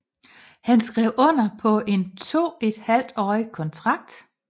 Han skrev under på en toethalvtårig kontrakt